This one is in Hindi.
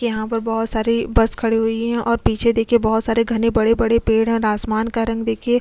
यहां पर बहुत सारे बस खड़ी हुई हैं और पीछे देखिए बहुत सारे घने बड़े-बड़े पेड़ हैं और आसमान का रंग देखिए।